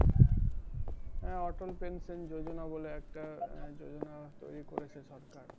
হ্যাঁ auto pension যোজনা বলে একটা যোজনা তৈরি করেছে সরকার।